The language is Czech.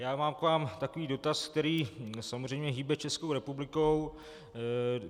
Já mám k vám takový dotaz, který samozřejmě hýbe Českou republikou.